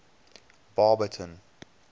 baberton